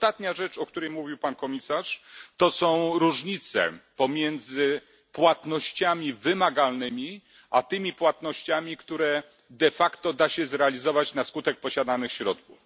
I ostatnia rzecz, o której mówił pan komisarz, to są różnice pomiędzy płatnościami wymagalnymi, a tymi płatnościami, które de facto da się zrealizować na skutek posiadanych środków.